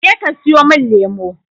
Je ka siyomin lemo!